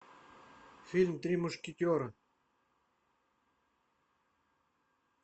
фильм три мушкетера